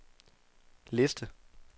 liste